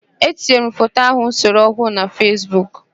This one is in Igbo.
Etinyere m foto ahụ m sere ọhụụ na Fesbuk.